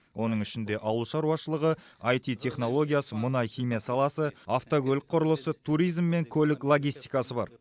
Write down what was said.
оның ішінде ауыл шаруашылығы іт технологиясы мұнай химия саласы автокөлік құрылысы туризм мен көлік логистикасы бар